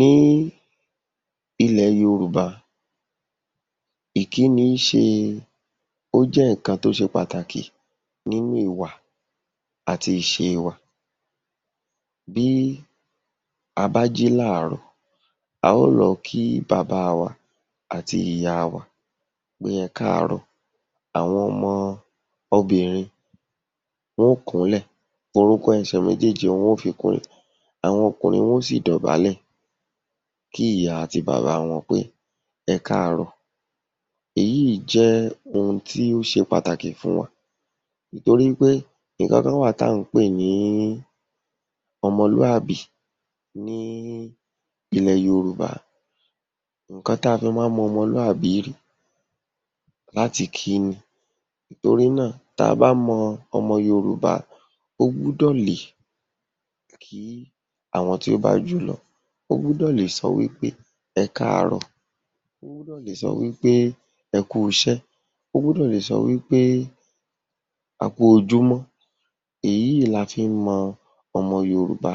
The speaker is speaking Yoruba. Ní ilẹ̀ Yorùbá, ìkíni ṣe, ó jẹ́ nǹkan tó ṣe pàtàkì nínú ìwà àti ìṣe wa. Bí a bá jí láàárọ̀, a ó lọ kí bàbá wa àti ìyá wa pé ẹ káàárọ̀. Àwọn ọmọ obìnrin wọ́n ó kúnlẹ̀, orúnkún ẹsẹ̀ méjéèjì ni wọ́n ó fi kúnlẹ̀. Àwọn ọkùnrin wọ́n ó sì dọ̀bálẹ̀ kí ìyá àti bàbá wọn pé, ‘ẹ káàárọ̀’. Èyí jẹ́ ohun tí ó ṣe pàtàkì fún wọn torí pé nǹkankan wà tí à ń pè ní ọmọlúàbí ní ilẹ̀ Yorùbá. Nǹkan tí a fi má ń mọ ọmọlúàbí rí láti ìkíni. Torí náà tá a bá mọ ọmọ Yorùbá ó gbúdọ̀ lè kí àwọn tí ó bá jù ú lọ, ó gbúdọ̀ lè sọ wí pé ‘ẹ káàárọ̀’, ó gbúdọ̀ lè sọ wí pé ‘ẹ kúuṣẹ́’, ó gbúdọ̀ lè sọ wí pé, ‘a kú ojúmọ́’. Èyí la fi ń mọ ọmọ Yorùbá